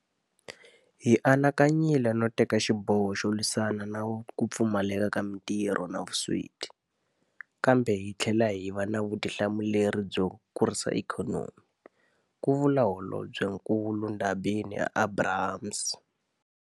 Hi anakanyile no teka xiboho xo lwisana na ku pfumaleka ka matirho na vusweti, kambe hi tlhela hi va na vutihlamuleri byo kurisa ikhonomi, ku vula Holobyenkulu Ndabeni-Abrahams.